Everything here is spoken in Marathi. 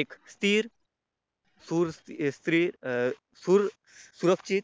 एक स्थिर शूर स्त्री अं सुरक्षित